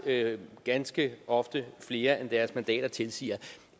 ganske ofte mere end deres antal mandater tilsiger